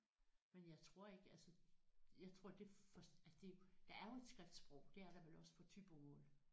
Men jeg tror ikke altså jeg tror det først altså det er jo der er jo et skriftsprog det er der vel også på thybomål